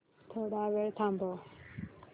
थोडा वेळ थांबव